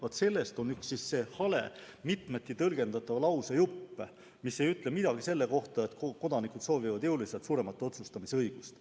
Vaat selle kohta on üks hale mitmeti tõlgendatav lausejupp, mis ei ütle midagi selle kohta, et kodanikud soovivad jõuliselt suuremat otsustamisõigust.